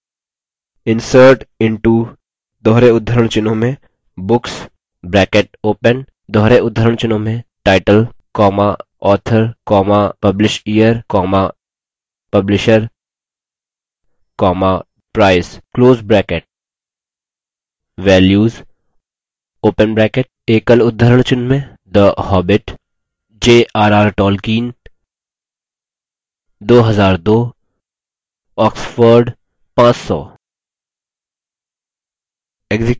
insert into books title author publishyear publisher price